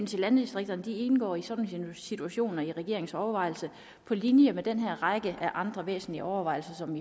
til landdistrikterne indgår i sådan nogle situationer i regeringens overvejelser på linje med en række andre væsentlige overvejelser som